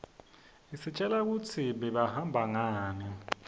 istjela kutsi bebahamba ngani